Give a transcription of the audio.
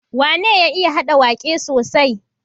Wane ya iya hada waƙe sosai?